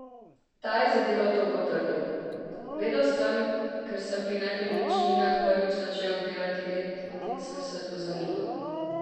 Ta je za Delo to potrdil: "Vedel sem, ker sem pri nepremičninah prvi začel delati red in sem se pozanimal.